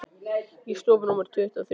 Í stofu númer tuttugu og þrjú.